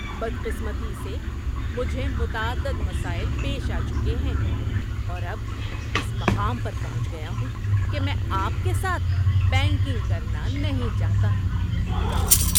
بدقسمتی سے مجھے متعدد مسائل پیش آ چکے ہیں اور اب اس مقام پر پہنچ گیا ہوں کہ میں آپ کے ساتھ بینکنگ کرنا نہیں چاہتا۔ (گاہک)